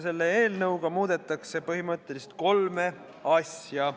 Selle eelnõuga muudetakse põhimõtteliselt kolme asja.